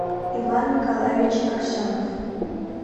иван николаевич аксенов